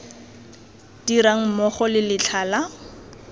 dirang mmogo le letlha la